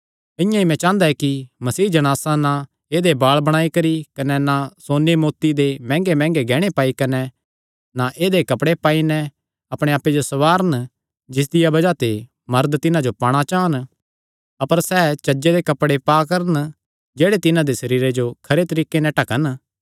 इआं ई मैं चांह़दा कि मसीह जणासां ना ऐदेय बाल़ बणाई करी कने ना सोन्ने मोती दे मैंह्गेमैंह्गे गैहणे पाई कने ना ई ऐदेय कपड़े पाई नैं अपणे आप्पे जो संवारन जिसदिया बज़ाह ते मरद तिन्हां जो पाणा चान अपर सैह़ चज्जे दे कपड़े पा करन जेह्ड़े तिन्हां दे सरीरे जो खरे तरीके नैं ढकन